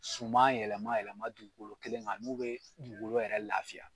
Suman yɛlɛma yɛlɛma dugukolo kelen kan n'o bɛ dugukolo yɛrɛ lafiya.